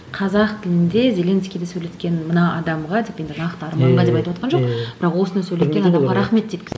қазақ тілінде зелинскийді сөйлеткен мына адамға деп енді нақты арманға деп айтыватқан жоқ бірақ осыны сөйлеткен адамға рахмет дейді